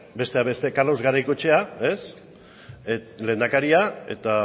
besteak beste carlos garaikoetxea lehendakaria eta